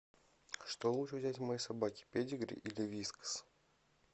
что лучше взять моей собаке педигри или вискас